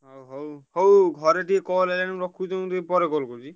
ହଁ ହଉ ହଉ ଘରେ ଟିକେ call ଆଇଲାଣି ମୁଁ ରଖୁଛି ତମୁକୁ ଟିକେ ପରେ call କରୁଚି।